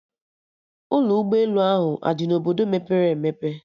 Ụlọ ụgbọ elu ahụ adị na Obodo mepere emepe?